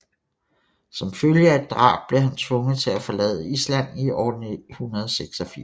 Som følge af et drab blev han tvunget til at forlade Island i år 986